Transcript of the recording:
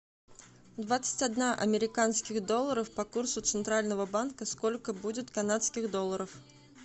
двадцать одна американских долларов по курсу центрального банка сколько будет канадских долларов